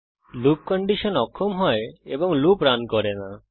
loop condition অক্ষম হয় এবং লুপ রান করে না